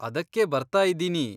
ಅದಕ್ಕೇ ಬರ್ತಾ ಇದ್ದೀನಿ.